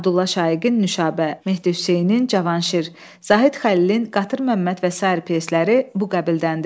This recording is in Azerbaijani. Abdulla Şaiqin “Nüşabə”, Mehdi Hüseynin “Cavanşir”, Zahid Xəlilin “Qatır Məmməd” və sair pyesləri bu qəbildəndir.